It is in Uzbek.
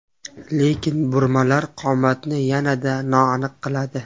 Lekin burmalar qomatni yanada noaniq qiladi.